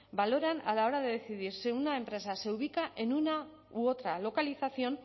valoran a la hora de decidir si una empresa se ubica en una u otra localización